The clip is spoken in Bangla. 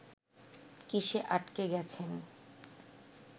কিসে আটকে গেছেন